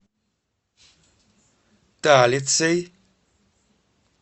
талицей